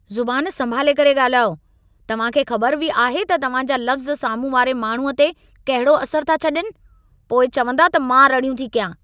ज़ुबान संभाले करे ॻाल्हायो। तव्हां खे ख़बर बि आहे त तव्हां जा लफ़्ज़ साम्हूं वारे माण्हूअ ते कहिड़ो असर था छॾीनि। पोइ चवंदा त मां रड़ियूं थी कयां।